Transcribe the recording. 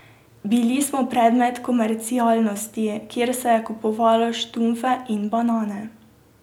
Bili smo predmet komercialnosti, kjer se je kupovalo štunfe in banane ...